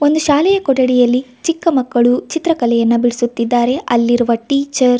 ಒಂದು ಶಾಲೆಯ ಕೊಠಡಿಯಲ್ಲಿ ಚಿಕ್ಕಮಕ್ಕಳು ಚಿತ್ರಕಲೆಯನ್ನ ಬಿಡಿಸುತ್ತಿದ್ದಾರೆ ಅಲ್ಲಿರುವ ಟೀಚರ್ --